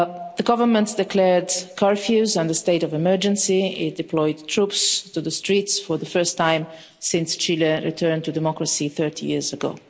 The government has declared curfews and a state of emergency. It deployed troops on the streets for the first time since Chile returned to democracy 30 years ago.